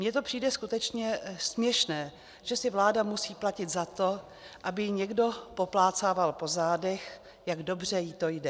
Mně to přijde skutečně směšné, že si vláda musí platit za to, aby ji někdo poplácával po zádech, jak dobře jí to jde.